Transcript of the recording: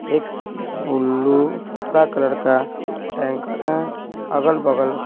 एक ब्लू हरा कलर का टैंकर है अगल-बगल--